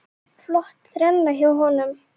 Flott þrenna hjá honum.